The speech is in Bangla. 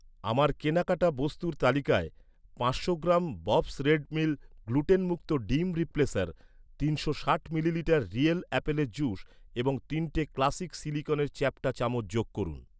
আমার কেনাকাটা বস্তুর তালিকায়, পাঁচশো গ্রাম ববস্ রেড মিল গ্লুটেনমুক্ত ডিম রিপ্লেসার, তিনশো ষাট মিলিলিটার রিয়েল আপেলের জুস এবং তিনটে ক্লাসিক সিলিকনের চ্যাপ্টা চামচ যোগ করুন।